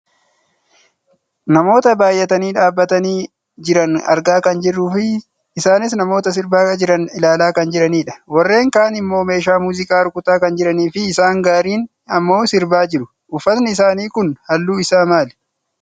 Namoota baayyatanii dhaabbatanii jiran argaa kan jirruufi isaanis namoota sirbaa jiran ilaalaa kan jiranidha. Warreen kaan immoo meeshaa muuziqaa rukutaa kan jiraniifi isaan gariin ammoo sirbaa jiru. Uffatni isaanii kun halluun isaa maali?